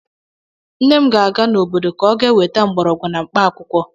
Nne m ga-aga n'obodo ka ọ ga-weta mgbọrọgwụ na mkpaakwụkwọ.